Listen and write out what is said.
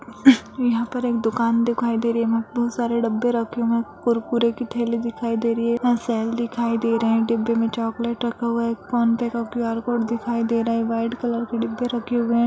उह् यहाँ पर एक दूकान दिखाई दे रही है वहाँ पर बहुत सारे डब्बे रखे हुए है कुरकुरे की थैली दिखाई दे रही है दिखाई दे रहे हैं डिब्बे में चॉकलेट रखा हुआ है एक फोनपे का क्यू_आर कोड दिखाई दे रहे हैं व्हाइट कलर के डिब्बे रखे हुए है।